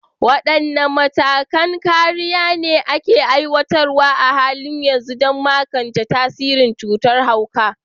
Wadanne matakan kariya ne ake aiwatarwa a halin yanzu don magance tasirin cutar hauka?